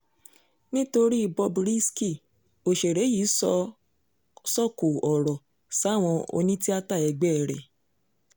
nítorí i bob risky òṣèré yìí sọ sòkò ọ̀rọ̀ sáwọn onítìáta ẹgbẹ́ ẹ̀ rẹ̀